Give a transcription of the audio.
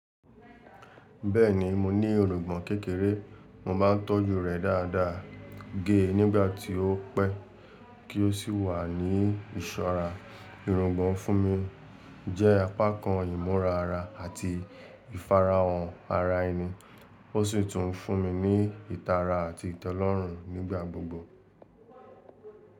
Bẹ́ẹ̀ni, mo ní irùngbọ̀n kékeré, mo máà ń tọ́jú rẹ̀ dáadáa gẹ́ẹ́ nígbàtí ó pẹ́ kí o sì wà ní ìsọ̀rà. Irùngbọ̀n fún mi jẹ́ apákan ìmúra ara àti ìfarahàn ara ẹni, o si tún fún mi ní ìtara àti ìtọ́lọ́rùn nígbàgbogbo.